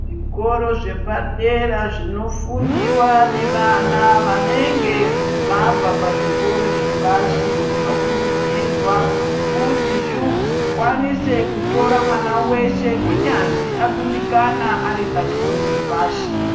Zvikoro zvepadera zvinofundiwa nevana vanenge vabva pazvikoro zvepashi zvinokurudzirwa kuti zvikwanise kutora mwana weshe kunyazwi akundikana aripachikoro chepashi.